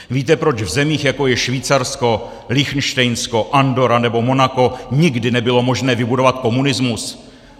Víte, proč v zemích, jako je Švýcarsko, Lichtenštejnsko, Andorra nebo Monako nikdy nebylo možné vybudovat komunismus?